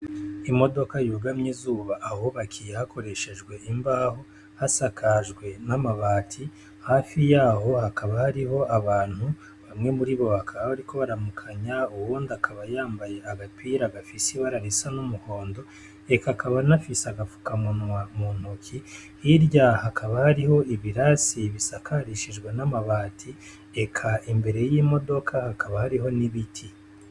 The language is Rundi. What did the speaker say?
Imodoka yugamye izuba ahubakiye hakoreshejwe imbaho hasakajwe n'amabati, hafi yaho hakaba hariho abantu, bamwe muri bo bakaba bariko bararamukanya, uwundi akaba yambaye agapira gafise ibara risa n'umuhondo eka akaba anafise agapfukamunwa mu ntoki, hirya hakaba hariho ibirasi bisakarishijwe n'amabati, eka imbere y'imodoka hakaba hariho n'ibiti.